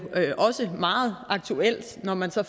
også meget aktuelt når man så